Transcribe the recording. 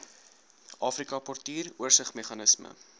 afrika portuur oorsigsmeganisme